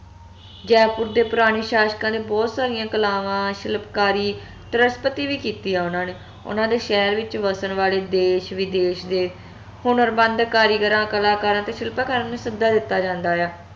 ਜੈਪੁਰ ਦੇ ਪੁਰਾਣੇ ਸ਼ਾਸ਼ਕਾਂ ਨੇ ਬਹੁਤ ਸਾਰੀਆਂ ਕਲਾਵਾਂ ਸ਼ਿਲਪਕਾਰੀ ਵੀ ਕੀਤੀ ਆ ਓਹਨਾ ਨੇ ਓਹਨਾ ਦੇ ਸ਼ਹਿਰ ਵਿਚ ਵਸਣ ਵਾਲੇ ਦੇਸ਼ ਵਿਦੇਸ਼ ਦੇ ਹੁਨਰਮੰਦ ਕਾਰੀਗਰਾਂ ਕਲਾਕਾਰਾਂ ਸ਼ਿਲਪਕਾਰਾਂ ਨੂੰ ਸੱਦਾ ਦਿੱਤਾ ਜਾਂਦਾ ਆ